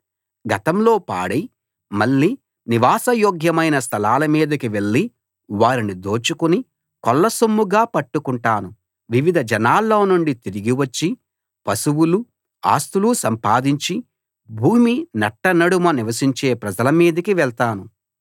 గతంలో పాడై మళ్ళీ నివాసయోగ్యమైన స్థలాల మీదికి వెళ్ళి వారిని దోచుకుని కొల్లసొమ్ముగా పట్టుకుంటాను వివిధ జనాల్లోనుండి తిరిగివచ్చి పశువులు ఆస్తులు సంపాదించి భూమి నట్టనడుమ నివసించే ప్రజల మీదికి వెళ్తాను